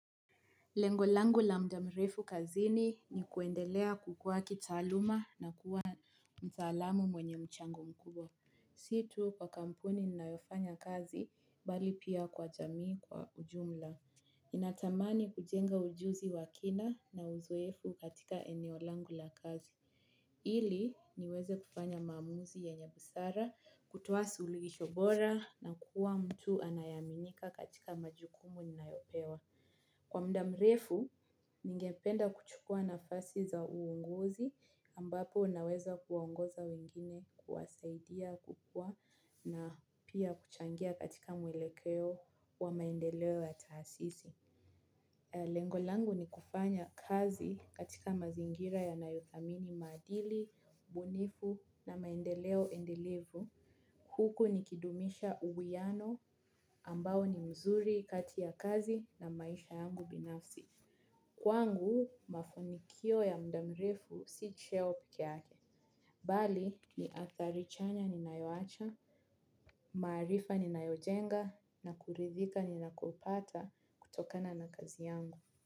Lengo langu la mda mrefu kazini ni kuendelea kukua kitaaluma na kuwa mtaalamu mwenye mchango mkubwa. Si tu kwa kampuni ninayofanya kazi bali pia kwa jamii kwa ujumla ninatamani kujenga ujuzi wa kina na uzoefu katika eneo langu la kazi. Ili niweze kufanya maamuzi yenye busara kutoa suluhisho bora na kuwa mtu anayeaminika katika majukumu ninayopewa. Kwa mda mrefu, ningependa kuchukua nafasi za uongozi ambapo naweza kuwaongoza wengine kuwasaidia kukua na pia kuchangia katika mwelekeo wa maendeleo ya taasisi. Lengo langu ni kufanya kazi katika mazingira yanayothamini maadili, ubunifu na maendeleo endelevu. Huku nikidumisha uwiano ambao ni mzuri kati ya kazi na maisha yangu binafsi. Kwangu mafanikio ya mda mrefu si cheo pekee yake. Bali ni athari chanya ninayoacha, maarifa ninayojenga na kuridhika ninakopata kutokana na kazi yangu.